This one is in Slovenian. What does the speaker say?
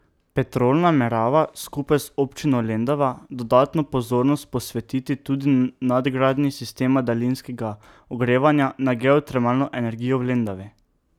Petrol namerava skupaj z občino Lendava dodatno pozornost posvetiti tudi nadgradnji sistema daljinskega ogrevanja na geotermalno energijo v Lendavi.